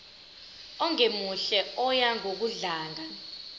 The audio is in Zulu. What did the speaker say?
ongemuhle oya ngokudlanga